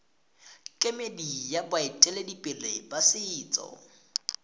kemedi ya baeteledipele ba setso